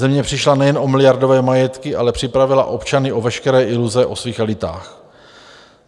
Země přišla nejen o miliardové majetky, ale připravila občany o veškeré iluze o svých elitách.